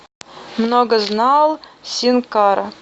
многознал син кара